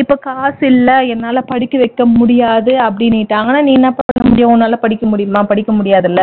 இப்ப காசு இல்ல என்னால படிக்க வைக்க முடியாது அப்படின்னுட்டாங்கன்னா நீ என்ன பண்ண முடியும் உன்னால படிக்க முடியுமா படிக்க முடியாது இல்ல